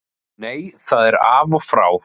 Nei það er af og frá.